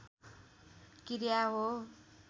क्रिया हो